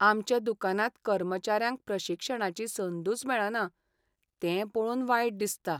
आमच्या दुकानांत कर्मचाऱ्यांक प्रशिक्षणाची संदूच मेळना तें पळोवन वायट दिसता.